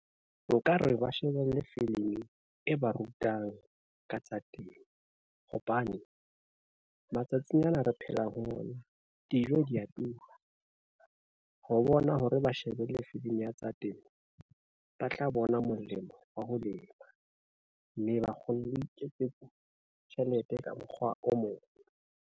Nka re ba shebelle filimi e ba rutang ka tsa temo, hobane matsatsing ana re phelang ho ona dijo dia tura. Ho bona hore ba shebelle filimi ya tsa temo, ba tla bona molemo wa ho lema, mme ba kgone ho iketsetsa tjhelete ka mokgwa o mong.